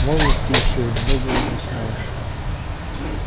молод ты ещё и многого не знаешь